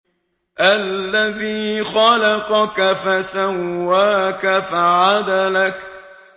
الَّذِي خَلَقَكَ فَسَوَّاكَ فَعَدَلَكَ